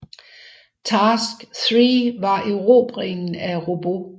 Task Three var erobringen af Rabaul